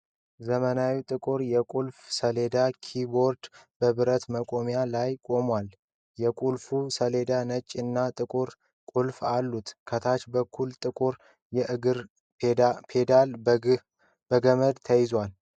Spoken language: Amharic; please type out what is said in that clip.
ዘመናዊ ጥቁር የቁልፍ ሰሌዳ (ኪይቦርድ) በብረት መቆሚያ ላይ ቆሟል። የቁልፍ ሰሌዳው ነጭ እና ጥቁር ቁልፎች አሉት። ከታች በኩል ጥቁር የእግር ፔዳል በገመድ ተያይዟል።